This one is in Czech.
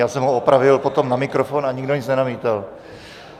Já jsem ho opravil potom na mikrofon a nikdo nic nenamítal.